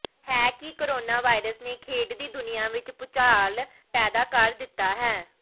ਹੈ ਕਿ corona virus ਨੇ ਖੇਡ ਦੀ ਦੁਨੀਆ ਵਿਚ ਵੀ ਭੂਚਾਲ ਪੈਦਾ ਕਰ ਦਿੱਤਾ ਹੈ